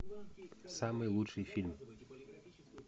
самый лучший фильм